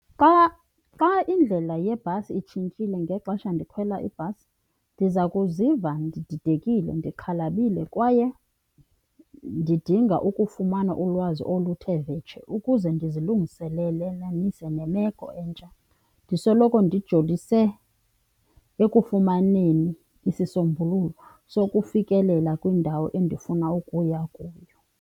Xa indlela yebhasi itshintshile ngexesha ndikhwela ibhasi, ndiza kuziva ndididekile, ndixhalabile kwaye ndidinga ukufumana ulwazi oluthe vetshe ukuze ndizilungiselelanise nemeko entsha. Ndisoloko ndijolisise ekufumaneni isisombululo sokufikelela kwiindawo endifuna ukuya kuyo.